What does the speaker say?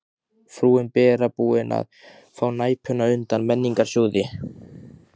Frúin Bera búin að fá Næpuna undan Menningarsjóði.